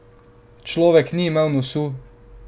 Človek ni imel nosu!